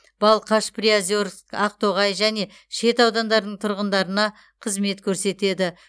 балқаш приозерск ақтоғай және шет аудандарының тұрғындарына қызмет көрсетеді